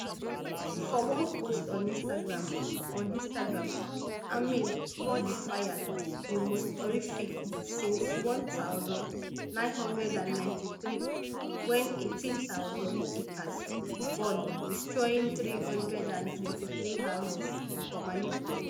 for one post on instagram on instagram hamill call di fire di most horrific since one thousand, nine hundred and ninety-three wen eighteen thousand acres burn destroying three hundred and twenty-three houses for malibu